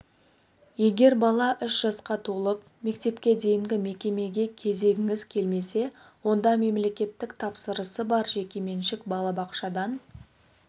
егер бала үш жасқа толып мектепке дейінгі мекемеге кезегіңіз келмесе онда мемлекеттік тапсырысы бар жекеменшік балабақшадан